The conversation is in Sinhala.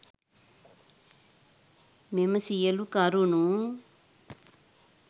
මෙම සියලු කරුණු